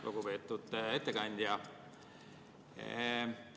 Lugupeetud ettekandja!